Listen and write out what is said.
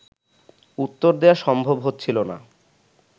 উত্তর দেয়া সম্ভব হচ্ছিল না